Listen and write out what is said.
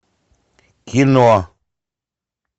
кино